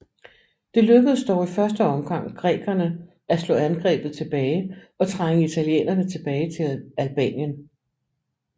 Det lykkedes dog i første omgang grækerne at slå angrebet tilbage og trænge italienerne tilbage til Albanien